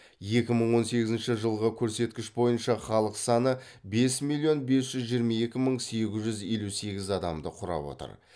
екі мың он сегізінші жылғы көрсеткіш бойынша халық саны бес миллион бес жүз жиырма екі мың сегіз жүз елу сегіз адамды құрап отыр